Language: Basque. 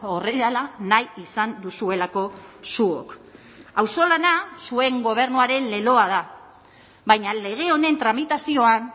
horrela nahi izan duzuelako zuok auzolana zuen gobernuaren leloa da baina lege honen tramitazioan